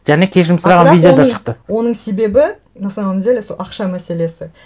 және кешірім сұраған видео да шықты оның себебі на самом деле сол ақша мәселесі